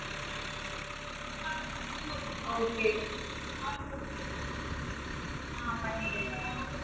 Okay ஆஹ் பண்ணிடுங்க